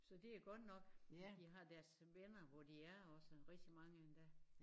Så det godt nok at de har deres venner hvor de er og så rigtig mange endda